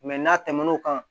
n'a tɛmɛn'o kan